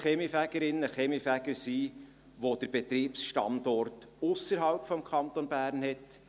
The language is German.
Es kann auch eine Kaminfegerin, ein Kaminfeger sein, die oder der den Betriebsstandort ausserhalb des Kantons Bern hat.